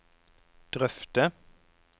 drøfte